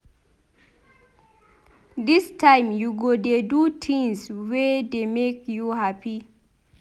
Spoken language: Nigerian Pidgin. Dis time you go dey do tins wey dey make you hapi.